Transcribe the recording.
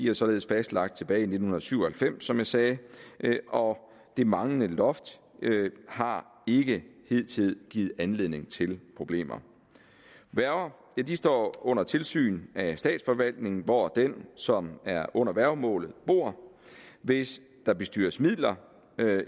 er således fastlagt tilbage i nitten syv og halvfems som jeg sagde og det manglende loft har ikke hidtil givet anledning til problemer værger står under tilsyn af den statsforvaltning hvor den som er under værgemålet bor hvis der bestyres midler